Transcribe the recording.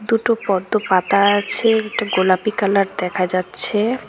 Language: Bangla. দুটো পদ্ম পাতা আছে একটা গোলাপী কালার দেখা যাচ্ছে।